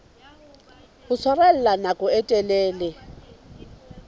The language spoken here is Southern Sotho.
ho tshwarella nako e telele